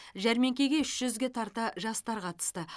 жәрмеңкеге үш жүзге тарта жастар қатысты